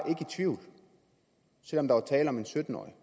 i tvivl selv om der var tale om en sytten årig